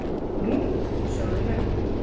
Nú? sögðu menn.